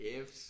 Jeps